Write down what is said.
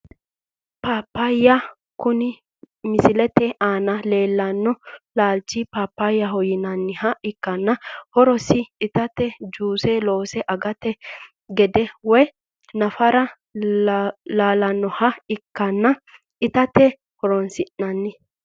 Paapaya kone misilete aana leelano laalcho paapayaho yinaniha ikanna horosino itate juuse loonse agate gate woyi nafara laalawoha ikanna itate horonsinani.